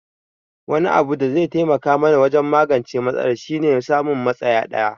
Wani abu da zai taimaka mana wajen magance matsalar shi ne samun matsaya daya